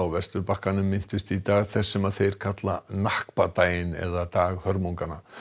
Vesturbakkanum minntust í dag þess sem þeir kalla daginn eða dag hörmunganna